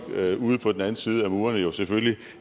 ude på den anden side af murene jo selvfølgelig